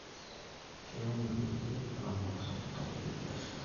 Keun irkulie laramatak ntapuka ebiashara